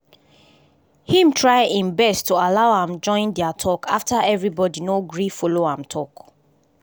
im try im best to allow am join dia talk after everybody no gree follow am talk